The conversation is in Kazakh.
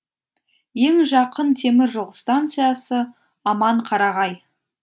ең жақын темір жол станциясы аманқарағай